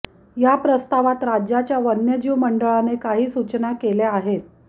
या प्रस्तावात राज्याच्या वन्यजीव मंडळाने काही सूचना केल्या आहेत